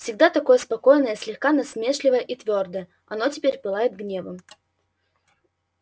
всегда такое спокойное слегка насмешливое и твёрдое оно теперь пылает гневом